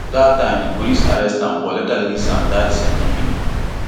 dat time di police arrest am but later release am dat same evening